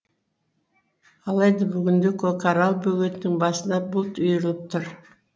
алайда бүгінде көкарал бөгетінің басына бұлт үйіріліп тұр